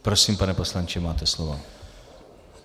Prosím, pane poslanče, máte slovo.